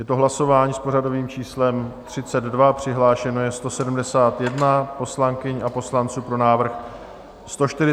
Je to hlasování s pořadovým číslem 32, přihlášeno je 171 poslankyň a poslanců, pro návrh 143, proti nikdo.